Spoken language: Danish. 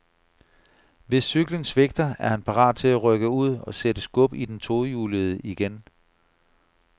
Hvis cyklen svigter, er han parat til at rykke ud og sætte skub i den tohjulede igen.